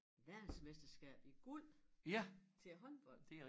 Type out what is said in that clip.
Verdensmesterskab i guld til håndbold